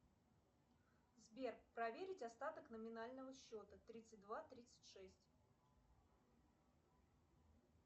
сбер проверить остаток номинального счета тридцать два тридцать шесть